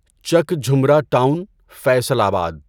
چک جھمرہ ٹاون، فیصل آباد